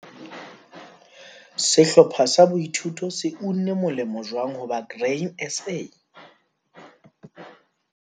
Sehlopha sa boithuto se unne molemo jwang ho ba Grain SA?